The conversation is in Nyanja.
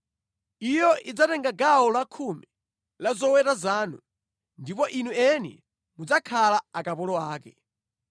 Iyo idzatenga gawo lakhumi la zoweta zanu, ndipo inu eni mudzakhala akapolo ake.